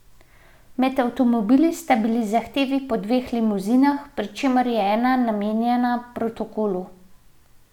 Med avtomobili sta tudi zahtevi po dveh limuzinah, pri čemer je ena namenjena protokolu.